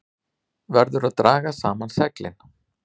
Verður að draga saman seglin